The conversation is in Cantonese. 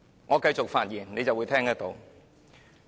我繼續發言，你便會聽到。